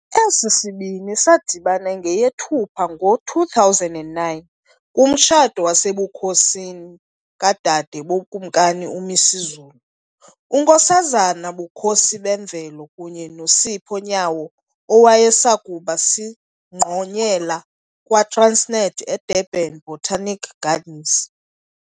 Esi sibini sadibana ngeyeThupha ngo-2009 kumtshato wasebukhosini kadade boKumkani uMisuzulu, uNkosazana Bukhosibemvelo kunye noSipho Nyawo owayesakuba singqonyela kwaTransnet, eDurban Botanic Gardens.